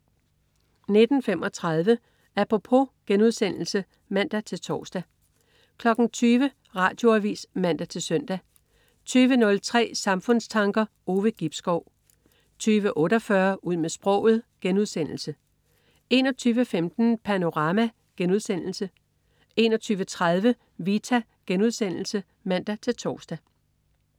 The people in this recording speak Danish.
19.35 Apropos* (man-tors) 20.00 Radioavis (man-søn) 20.03 Samfundstanker. Ove Gibskov 20.48 Ud med sproget* 21.15 Panorama* 21.30 Vita* (man-tors)